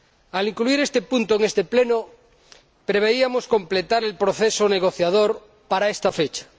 Al incluir este punto en este Pleno preveíamos completar el proceso negociador para esta fecha.